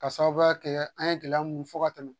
Ka sababuya kɛ an ye gɛlɛya mun fɔ ka tɛmɛ